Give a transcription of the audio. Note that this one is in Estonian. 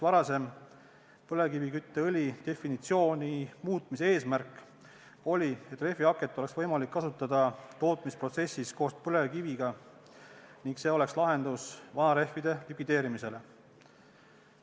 Varasema põlevkivikütteõli definitsiooni muutmise eesmärk oli, et rehvihaket oleks võimalik kasutada tootmisprotsessis koos põlevkiviga ning see oleks lahendus vanarehvide likvideerimisele.